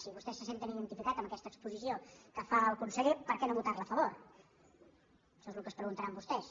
si vostès se senten identificats amb aquesta exposició que fa el conseller per què no votar·hi a fa·vor això és el que es preguntaran vostès